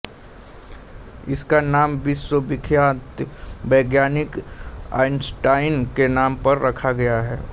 इसका नाम विश्वविख्यात वैज्ञानिक आइंस्टाइन के नाम पर रखा गया है